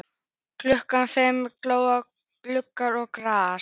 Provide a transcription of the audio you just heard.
Klukkan fimm glóa gluggar og gras.